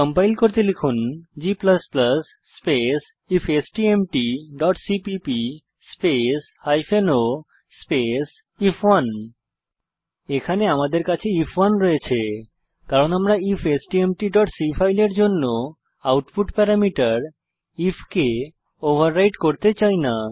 compile করতে লিখুন g space ifstmtসিপিপি স্পেস o স্পেস আইএফ1 এখানে আমাদের কাছে আইএফ1 রয়েছে কারণ আমরা ifstmtসি ফাইলের জন্য আউটপুট প্যারামিটার আইএফ কে ওভাররাইট করতে চাই না